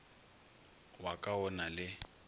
wa ka o na le